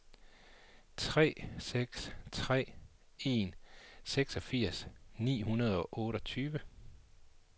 tre seks tre en seksogfirs ni hundrede og otteogtyve